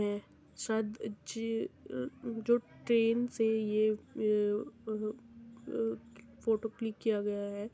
सज- ज जो ट्रैन से ये अ अ ये फोटो क्लिक किया गया है।